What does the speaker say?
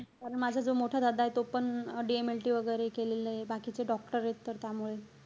कारण माझा जो मोठा दादा आहे तो पण DMLT वगैरे केलेलंय. बाकीचे doctor आहेत तर त्यामुळे.